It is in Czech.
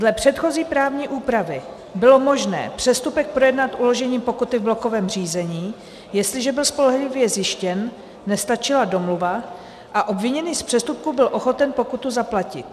Dle předchozí právní úpravy bylo možné přestupek projednat uložením pokuty v blokovém řízení, jestliže byl spolehlivě zjištěn, nestačila domluva a obviněný z přestupku byl ochoten pokutu zaplatit.